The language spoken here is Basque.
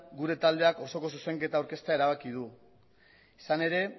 gure taldeak osoko zuzenketa aurkeztea erabaki du izan ere